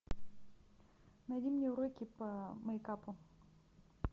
найди мне уроки по мейкапу